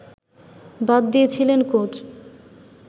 বাদ দিয়েছিলেন কোচ